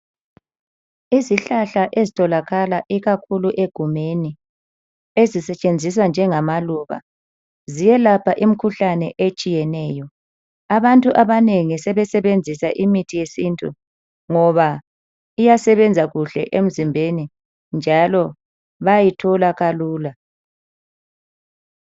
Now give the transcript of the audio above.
Izihlahla ezitholakala ikakhulu egumeni ezisetshenziswa njemaluba ziyelapha imikhuhlane etshiyeneyo. Abantu abanengi sebesebenzisa imithi yesintu ngoba iyasebenza kuhle emzimbeni njalo bayithola kalula.